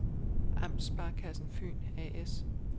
Amtssparekassen Fyn A/S